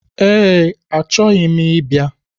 Ee, achọghị m ịbịa